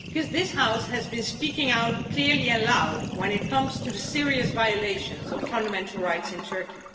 This House has been speaking out loudly and clearly when it comes to the serious violations of fundamental rights in Turkey.